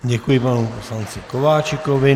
Děkuji panu poslanci Kováčikovi.